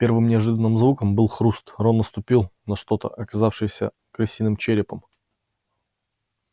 первым неожиданным звуком был хруст рон наступил на что-то оказавшееся крысиным черепом